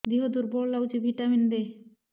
ଦିହ ଦୁର୍ବଳ ଲାଗୁଛି ଭିଟାମିନ ଦେ